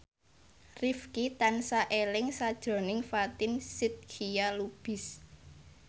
Rifqi tansah eling sakjroning Fatin Shidqia Lubis